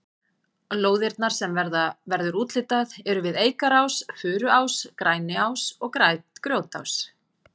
Lóðirnar sem verður úthlutað eru við Eikarás, Furuás, Greniás og Grjótás.